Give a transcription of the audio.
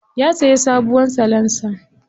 Ya siya sabuwar salansa.